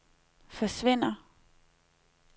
forsvinder